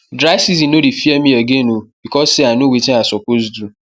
dry season no dey fear me again o because say i know wetin i suppose do